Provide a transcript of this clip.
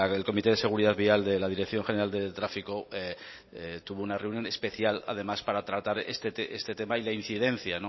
el comité de seguridad vial de la dirección general de tráfico tuvo una reunión especial además para tratar este tema y la incidencia